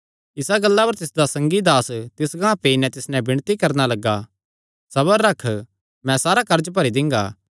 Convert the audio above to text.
इसा गल्ला पर तिसदा संगी दास तिस गांह पेई नैं तिस नैं विणती करणा लग्गा सबर रख मैं सारा कर्ज भरी दिंगा